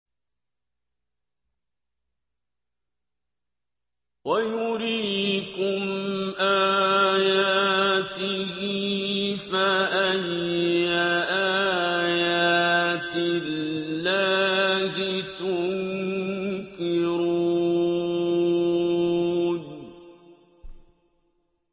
وَيُرِيكُمْ آيَاتِهِ فَأَيَّ آيَاتِ اللَّهِ تُنكِرُونَ